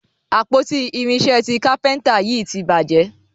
àpótí irinṣẹ tí kápẹ́ńtà yí tí bàjé.